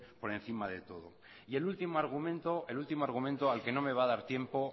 por encima de todo y el último argumento al que no me va a dar tiempo